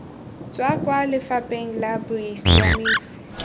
tswa kwa lefapheng la bosiamisi